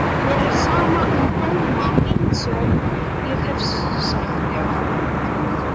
Mér er sama um dóma einsog ég hef sagt þér.